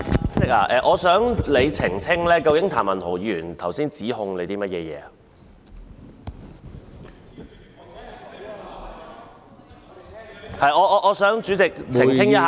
主席，我想你澄清譚文豪議員剛才向你作出了甚麼指控。